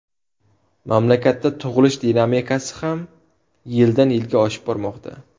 Mamlakatda tug‘ilish dinamikasi ham yildan yilga oshib bormoqda.